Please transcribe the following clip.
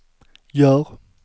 gör